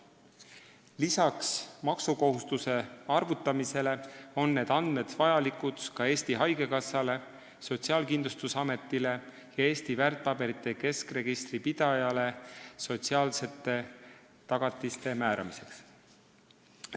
Lisaks maksukohustuse arvutamisele on need andmed vajalikud ka Eesti Haigekassale, Sotsiaalkindlustusametile ja Eesti väärtpaberite keskregistri pidajale sotsiaalsete tagatiste määramiseks.